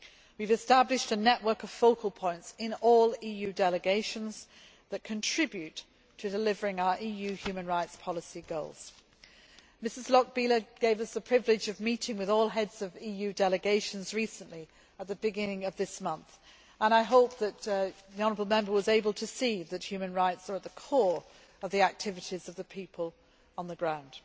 We have established a network of focal points in all EU delegations that contribute to delivering our EU human rights policy goals. Ms Lochbihler gave us the privilege of meeting with all Heads of EU delegations recently, at the beginning of this month, and I hope that the honourable Member was able to see that human rights are at the core of the activities of the people on the ground.